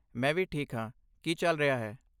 ਮੈਂ ਵੀ ਠੀਕ ਹਾਂ। ਕੀ ਚੱਲ ਰਿਹਾ ਹੈ?